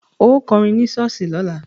Ó kọrin ní ṣọ́ọ̀ṣì lọ́la!